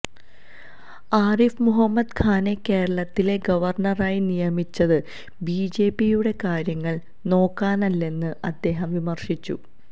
ആരിഫ് മുഹമ്മദ് ഖാനെ കേരളത്തിലെ ഗവർണറായി നിയമിച്ചത് ബിജെപിയുടെ കാര്യങ്ങൾ നോക്കാനല്ലെന്ന് അദ്ദേഹം വിമർശിച്ച